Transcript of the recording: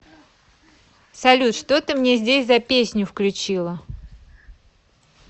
салют что ты мне здесь за песню включила